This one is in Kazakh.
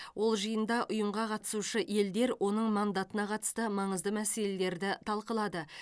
ол жиында ұйымға қатысушы елдер оның мандатына қатысты маңызды мәселелерді талқылады